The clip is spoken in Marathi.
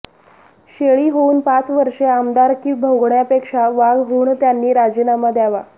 शेळी होऊन पाच वर्षे आमदारकी भोगण्यापेक्षा वाघ होऊन त्यांनी राजीनामा द्यावा